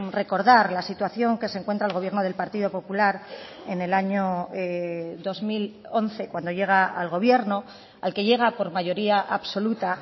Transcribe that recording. recordar la situación que se encuentra el gobierno del partido popular en el año dos mil once cuando llega al gobierno al que llega por mayoría absoluta